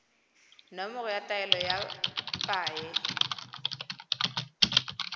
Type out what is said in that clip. nomoro ya taelo ya paye